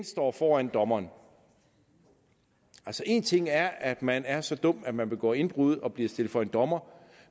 står foran dommeren altså en ting er at man er så dum at man begår indbrud og bliver stillet for en dommer